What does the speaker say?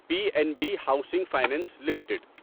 P N B housing finance limited